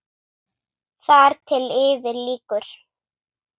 Þar til yfir lýkur.